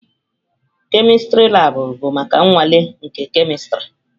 Kemistri labụ bụ maka nnwale na kemistri.